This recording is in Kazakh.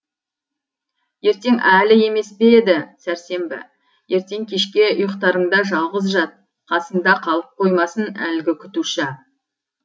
ертең әлі емес пе еді сәрсенбі ертең кешке ұйықтарыңда жалғыз жат қасыңда қалып қоймасын әлгі күтуші